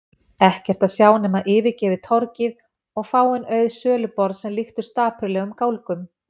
Ekkert að sjá nema yfirgefið torgið og fáein auð söluborð sem líktust dapurlegum gálgum.